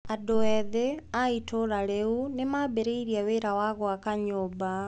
Andũ ethĩ a itũũra rĩu nĩ maambĩrĩirie wĩra wa gwaka nyũmba.